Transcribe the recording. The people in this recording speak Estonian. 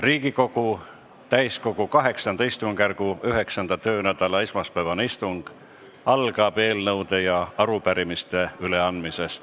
Riigikogu täiskogu VIII istungjärgu 9. töönädala esmaspäevane istung algab eelnõude ja arupärimiste üleandmisega.